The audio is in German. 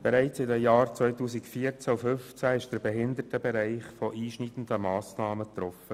Bereits in den Jahren 2014 und 2015 wurde der Behindertenbereich von einschneidenden Sparmassnahmen getroffen.